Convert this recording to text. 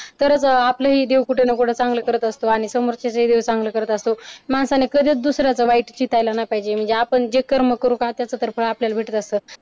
तरच आपलं देव कुठ ना कुठं चांगलं करत असतो आणि समोरच्याच्या देखील चांगले करत असतो माणसाने कधी दुसऱ्याचे वाईट चितायला नाही पाहिजे म्हणजे आपण जे कर्म करू त्याचं तर फळ आपल्याला भेटत असत.